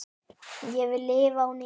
Ég vil lifa á ný